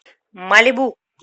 малибу